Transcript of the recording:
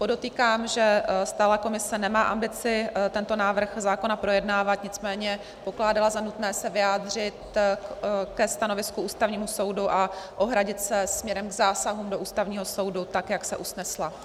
Podotýkám, že stálá komise nemá ambici tento návrh zákona projednávat, nicméně pokládala za nutné se vyjádřit ke stanovisku Ústavního soudu a ohradit se směrem k zásahům do Ústavního soudu tak, jak se usnesla.